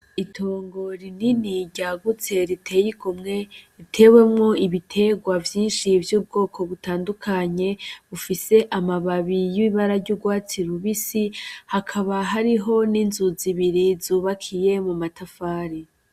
Itongo rinini ryagutse riteye igomwe, ritewemwo ibiterwa bitandukanye bifise amababi y'urwatsi rubisi hakaba hariho n'inzu zibiri zubakiye muma tafari.